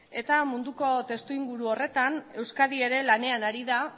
munduko testuinguru horretan euskadi ere lanean ari da